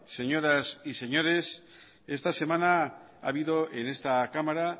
señoras y señores esta semana ha habido en esta cámara